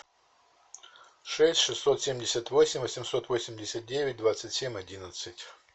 шесть шестьсот семьдесят восемь восемьсот восемьдесят девять двадцать семь одиннадцать